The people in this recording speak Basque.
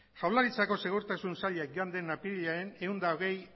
jaurlaritzako segurtasun sailak joan den apirilaren ehun eta hogei